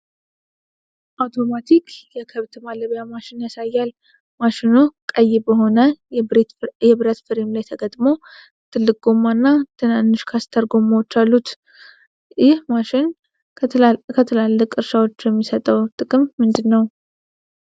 አውቶማቲክ የከብት ማለቢያ ማሽን ያሳያል፤ ማሽኑ ቀይ በሆነ የብረት ፍሬም ላይ ተገጥሞ ትልቅ ጎማ እና ትናንሽ ካስተር ጎማዎች አሉት። ይህ ማሽን ለትላልቅ እርሻዎች የሚሰጠው ጥቅም ምንድነው?